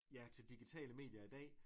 Ja til digitale medier i dag